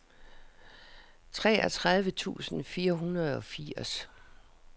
treogtredive tusind fire hundrede og firs